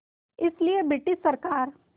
इसलिए ब्रिटिश सरकार